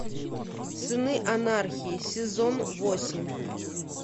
сыны анархии сезон восемь